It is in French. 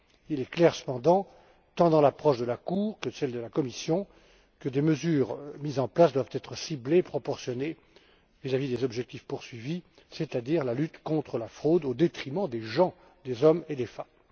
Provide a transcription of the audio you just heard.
Il est clair, cependant, tant dans l'approche de la Cour que dans celle de la Commission, que les mesures mises en place doivent être ciblées, proportionnées vis à vis des objectifs poursuivis, c'est à dire la lutte contre la fraude au détriment des personnes, des hommes et des femmes.